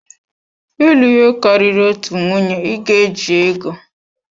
Ịlụ ihe karịrị otu nwunye, ị ga-eji ego.